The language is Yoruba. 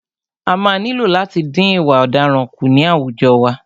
A máa nílò láti dín ìwà ọ̀daràn kù ní àwùjọ wa.